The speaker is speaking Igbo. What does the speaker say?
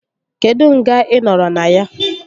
Kedụ nga ị nọrọ na ya?